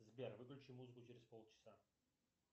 сбер выключи музыку через полчаса